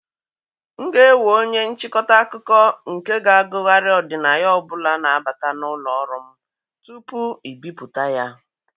M ga-ewe onye nchịkọta akụkọ nke ga-agụgharị ọdịnaya ọ bụla na-abata na ụlọ ọrụ m tupu ibipụta ya.